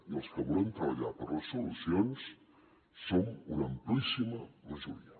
i els que volem treballar per les solucions som una amplíssima majoria